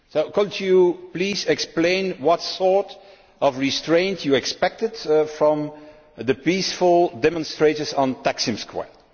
Could you please explain what sort of restraint you expected from the peaceful demonstrators on Taksim Square?